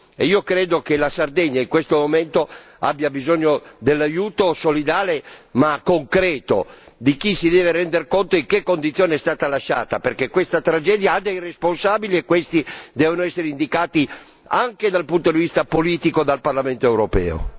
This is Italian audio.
Ritengo che la Sardegna in questo momento abbia bisogno dell'aiuto solidale e concreto di chi si deve rendere conto delle condizioni in cui è stata lasciata, perché questa tragedia ha dei responsabili e questi devono essere indicati, anche dal punto di vista politico, dal Parlamento europeo.